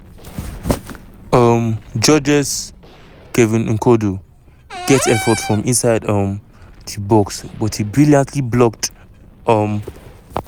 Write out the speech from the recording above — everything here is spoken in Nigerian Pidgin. um georges-kevin n'koudou get effort from inside um di box but e dey brilliantly blocked. um